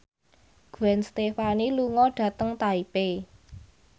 Gwen Stefani lunga dhateng Taipei